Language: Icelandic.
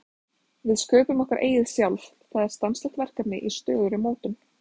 Við sköpum okkar eigið sjálf, það er stanslaust verkefni í stöðugri mótun.